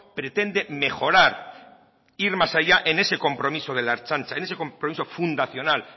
pretende mejorar ir más allá en ese compromiso de la ertzaintza en ese compromiso fundacional